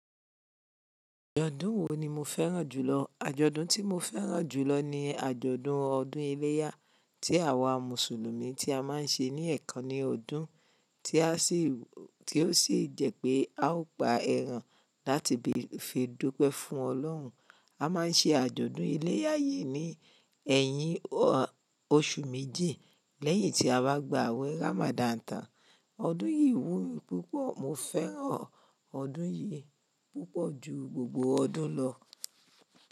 Àjọ̀dún wo ni mo fẹ́ràn jùlọ? Àjọ̀dún tí mo fẹ́ràn jù lọ ni àjọ̀dún ọdún iléyá tí àwa Mùsùlùmí ti a máa ń ṣe ní ẹ̀kan ní ọdún, tí ó sì jẹ́ pé a ó pa ẹran láti fi dúpẹ́ fún Ọlọ́run. A máa ń ṣe àjọ̀dún iléyá yìí ní ẹ̀yin oṣù méjì lẹ́yìn tí a bá gba àwẹ̀ Ramadan tán. Ọdún yìí wúnmi púpọ̀, mo fẹ́ràn ọdún yìí púpọ̀ ju gbogbo ọdún lọ.